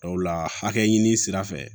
Dɔw la hakɛ ɲini sira fɛ